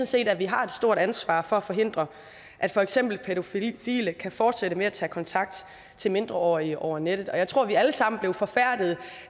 set at vi har et stort ansvar for at forhindre at for eksempel pædofile kan fortsætte med at tage kontakt til mindreårige over nettet og jeg tror at vi alle sammen blev forfærdede